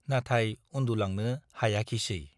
नाथाय उन्दुलांनो हायाखिसै।